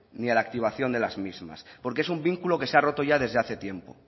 ni a la activación de las mismas porque es un vínculo que se ha roto ya desde hace tiempo